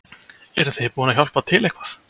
Hrund: Eruð þið búin að hjálpa til eitthvað?